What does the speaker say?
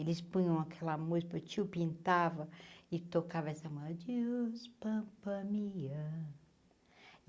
Eles punham aquela música meu tio pintava e tocava essa mú, adiós, Pampa Mia.